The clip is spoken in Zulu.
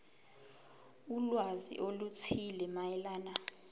ulwazi oluthile mayelana